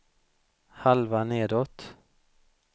halva nedåt